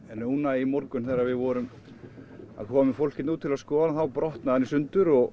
núna í morgun þegar við vorum að koma með fólk út hérna til að skoða brotnaði hann í sundur og